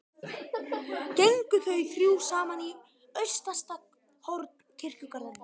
Gengu þau þá þrjú saman í austasta horn kirkjugarðsins.